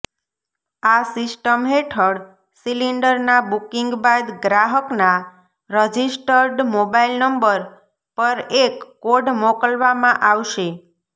આ સિસ્ટમ હેઠળ સિલિન્ડરના બુકિંગ બાદ ગ્રાહકના રજિસ્ટર્ડ મોબાઈલ નંબર પર એક કોડ મોકલવામાં આવશે